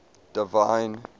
divine